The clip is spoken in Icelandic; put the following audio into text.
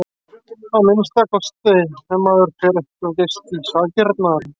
Að minnsta kosti ef maður fer ekki of geyst í sakirnar.